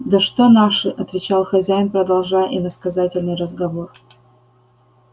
да что наши отвечал хозяин продолжая иносказательный разговор